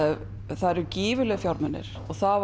það eru gífurlegir fjármunir og það